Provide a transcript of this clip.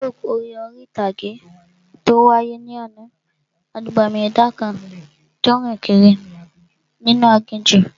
The folk eré orí-ìtàgé tó wáyé ní àná, abàmì ẹ̀dá kan tó n rìn kiri inú aginjù